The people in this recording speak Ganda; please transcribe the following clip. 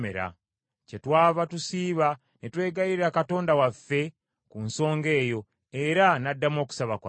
Kyetwava tusiiba ne twegayirira Katonda waffe ku nsonga eyo, era n’addamu okusaba kwaffe.